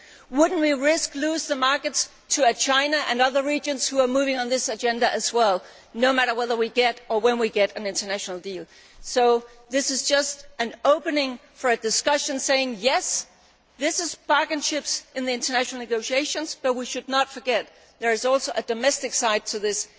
Would we not risk losing the markets to China and other regions that are moving on this agenda as well, no matter whether and when we get an international deal? This is just an opening for discussion, saying, yes, these are bargaining chips in the international negotiations, but we should not forget there is also a domestic side to